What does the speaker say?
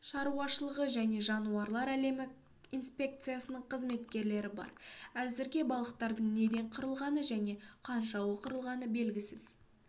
шаруашылығы және жануарлар әлемі инспекциясының қызметкерлері бар әзірге балықтардың неден қырылғаны және қаншауы қырылғаны белгісіз